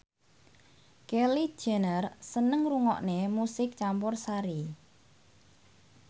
Kylie Jenner seneng ngrungokne musik campursari